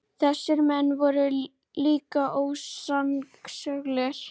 Þessir menn voru líka ósannsöglir.